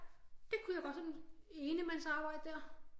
Det kunne jeg godt sådan i enemands arbejde der